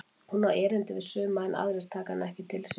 Hún á erindi við suma en aðrir taka hana ekki til sín.